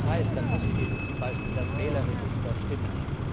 Und das heißt, da muss eben zum Beispiel das Wählerregister stimmen.